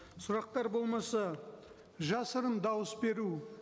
сұрақтар болмаса жасырын дауыс беру